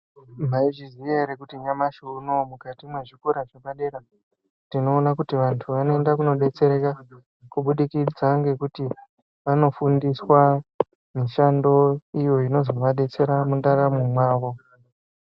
Maizviziya ere kuti nyamashi unowu mukati mwezvikora zvepadera tinoona kuti vantu vanoenda kunodetsereka kubudikidza ngekuti vanofundiswa mishando iyo inozovadetsera mundaramo mwavo.